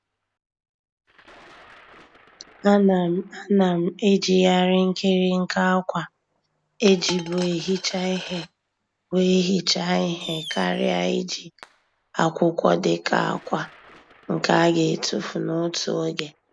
A na m A na m ejighari nkirinka akwa ejibu ehicha ihe wee hichaa ihe karịa iji akwụkwọ dịka akwa nke a ga etufu n'otu oge.